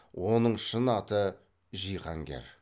оның шын аты жиһангер